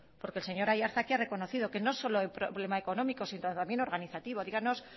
porque el señor aiartza aquí ha reconocido que no solo hay problema económico sino también organizativo díganos